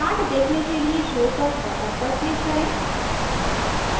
chart देखने के लिए show curve button पर click करें